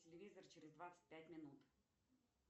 телевизор через двадцать пять минут